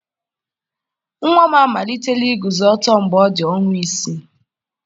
Nwa m amalitela iguzo ọtọ mgbe ọ dị ọnwa isii.